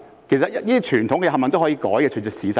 其實這些傳統全部都可以改，可以隨着時勢而改。